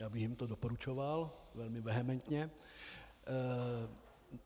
Já bych jim to doporučoval velmi vehementně.